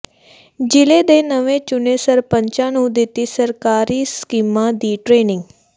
ਜਿਲ੍ਹੇ ਦੇ ਨਵੇਂ ਚੁਣੇ ਸਰਪੰਚਾਂ ਨੂੰ ਦਿੱਤੀ ਸਰਕਾਰੀ ਸਕੀਮਾਂ ਦੀ ਟ੍ਰੇਨਿੰਗ